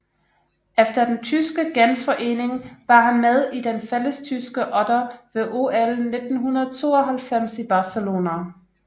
Efter den tyske genforening var han med i den fællestyske otter ved OL 1992 i Barcelona